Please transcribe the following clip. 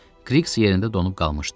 Kqriqs yerində donub qalmışdı.